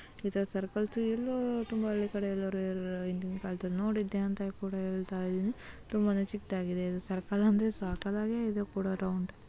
ಇದು ಸರ್ಕಲ್ ತುಮ್ಬ ಹಳ್ಳಿ ಕಡೆ ಎಲ್ಲ ರೇರ್ ಹಿಂದಿನ್ ಕಾಲದಲ್ಲಿ ನೋಡಿದ್ದೇ ಅಂತ ಕೂಡ ಹೇಳ್ತಿದ್ದೀನಿ ಇದು ತುಂಬಾನೇ ಚಿಕದಾಗಿದೆ ಸರ್ಕಲ್ ಅಂದ್ರೆ ತುಂಬ ಸಕ್ಕತಾಗೆ ಇದೆ ರೌಂಡ್ .